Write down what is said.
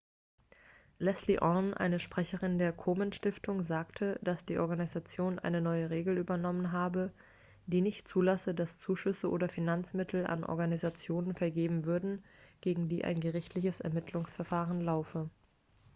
leslie aun eine sprecherin der komen-stiftung sagte dass die organisation eine neue regel übernommen habe die nicht zulasse dass zuschüsse oder finanzmittel an organisationen vergeben würden gegen die ein gerichtliches ermittlungsverfahren laufe